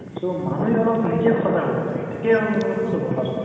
so মানুহে অলপ নিজে সজাগ হʼব লাগে, তেতিয়াহে হʼব। নহলে কʼত হʼব কোৱাচোন?